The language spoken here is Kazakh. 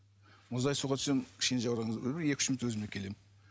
мұздай суға түсемін кішкене жаураған кезде бір бір екі үш минутта өзіме келемін